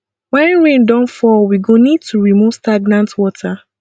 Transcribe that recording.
when rain don fall we go need to remove stagnant water